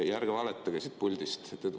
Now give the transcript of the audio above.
Ärge valetage siit puldist.